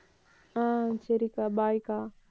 ஆஹ் சரிக்கா bye க்கா